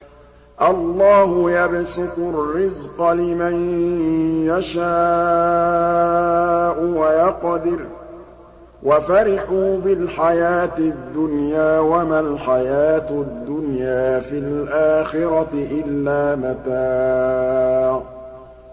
اللَّهُ يَبْسُطُ الرِّزْقَ لِمَن يَشَاءُ وَيَقْدِرُ ۚ وَفَرِحُوا بِالْحَيَاةِ الدُّنْيَا وَمَا الْحَيَاةُ الدُّنْيَا فِي الْآخِرَةِ إِلَّا مَتَاعٌ